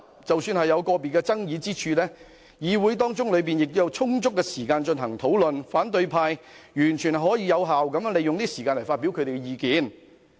即使有個別爭議之處，議會亦有充足時間進行討論，反對派完全可以有效利用會議時間發表意見。